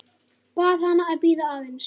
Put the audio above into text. Bað hana að bíða aðeins.